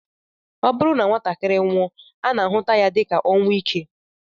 Ọ bụrụ na nwatakịrị nwụọ, a na-ahụta ya dịka ọnwụ ike